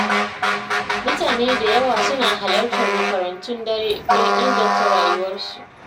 Mutane da yawa suna halartar makarantun dare don inganta rayuwarsu.